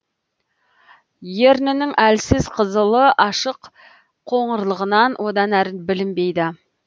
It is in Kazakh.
ернінің әлсіз қызылы ашық қоңырлығынан одан әрі білінбейді